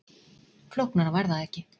Flóknara var það ekki